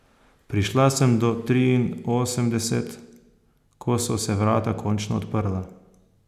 Prišla sem do triinosemdeset, ko so se vrata končno odprla.